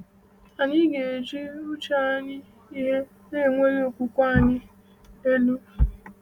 Anyị ga-ejuo uche anyị ihe na-ewuli okwukwe anyị elu.